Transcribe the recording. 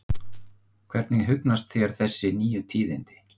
Hvernig hugnast þér þessi nýju tíðindi?